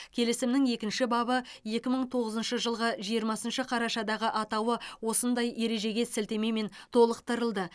келісімнің екінші бабы екі мың тоғызыншы жылғы жиырмасыншы қарашадағы атауы осындай ережеге сілтемемен толықтырылды